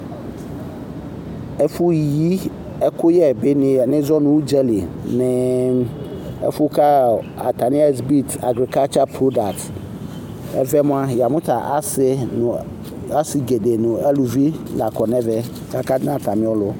Ɛfuyi ɛkuyɛ ɛdini alo udzali la nɛvɛ ɛƒu ku atani apaki agri produit ɛfɛ mua yamu asi gɛdɛ nu uluvi akɔnɛvɛ kakana atami ɔlu